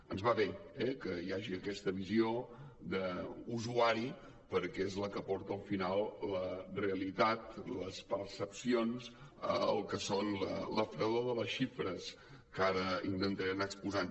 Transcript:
ens va bé eh que hi hagi aquesta visió d’usuari perquè és la que aporta al final la realitat les percepcions al que és la fredor de les xifres que ara intentaré anar exposant